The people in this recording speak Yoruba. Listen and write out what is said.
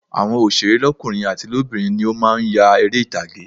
Àwọn òsèré lọ́kùnrin àti lóbìnrin ni ó má a nya eré ìtàgé